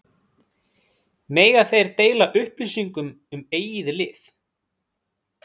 Mega þeir deila upplýsingum um eigið lið?